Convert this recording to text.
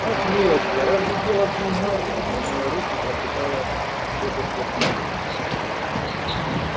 ах милочка разве дело в деньгах ломая руки прочитала тётушка питти